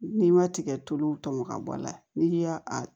N'i ma tigɛ tulu tɔmɔ ka bɔ a la n'i y'a a